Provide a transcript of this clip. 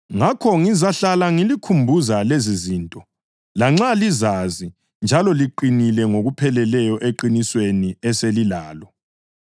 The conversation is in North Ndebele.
Ngakho ngizahlala ngilikhumbuza lezizinto, lanxa lizazi njalo liqinile ngokupheleleyo eqinisweni eselilalo.